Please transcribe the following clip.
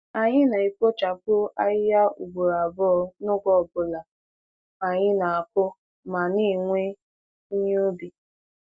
Anyị na-ekpochapụ ahịhịa ugboro abụọ n'oge ọ bụla anyị na-akụ ma na-ewe ihe ubi.